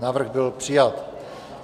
Návrh byl přijat.